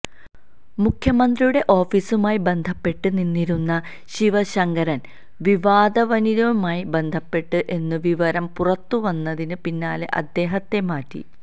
മുഖ്യമന്ത്രിയുടെ ഓഫീസുമായി ബന്ധപ്പെട്ട് നിന്നിരുന്ന ശിവശങ്കരന് വിവാദ വനിതയുമായി ബന്ധപ്പെട്ടു എന്ന വിവരം പുറത്ത് വന്നതിന് പിന്നാലെ അദ്ദേഹത്തെ മാറ്റി